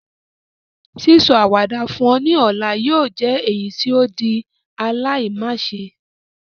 Sísọ àwàdà fún ọ ni ọ̀la yóò jẹ èyítí o di aláimáse